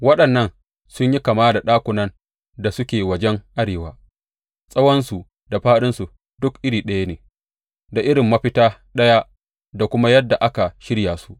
Waɗannan sun yi kama da ɗakunan da suke wajen arewa; tsawonsu da fāɗinsu duk iri ɗaya ne, da irin mafita ɗaya da kuma yadda aka shirya su.